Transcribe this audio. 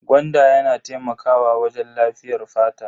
Gwanda yana taimakawa wajen lafiyar fata.